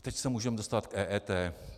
Teď se můžeme dostat k EET.